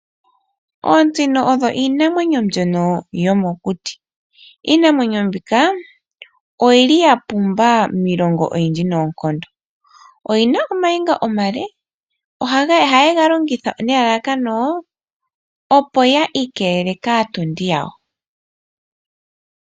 Oosino odho iinamwenyo mbyono yomokuti, iinamwenyo mbino oyi li ya pumba miilongo oyindji noonkondo. Oyi na omayinga omale, ohayi ga longitha nelalakano opo yi ikelele kaatondi yawo.